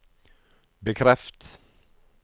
bekreft